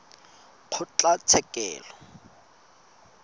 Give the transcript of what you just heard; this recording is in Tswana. kgotlatshekelo